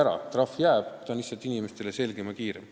Trahv jääb, selle määramine on lihtsalt inimestele selgem ja kiirem.